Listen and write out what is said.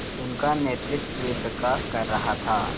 उनका नेतृत्व प्रकाश कर रहा था